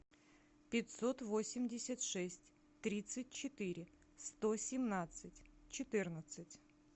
пятьсот восемьдесят шесть тридцать четыре сто семнадцать четырнадцать